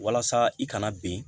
Walasa i kana ben